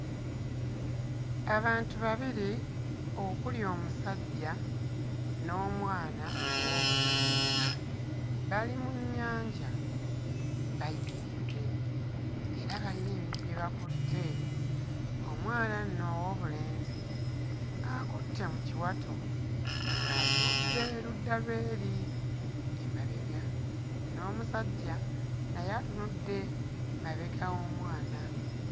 Abantu babiri okuli omusajja n'omwana ow'obulenzi bali mu nnyanja bayimiridde era bayina ebintu bye bakutte. Omwana nno ow'obulenzi akutte mu kiwato atunudde ludda lw'eri emabega, n'omusajja naye atunudde mabega w'omwana.